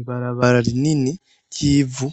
Ibarabara rinini ry'ivu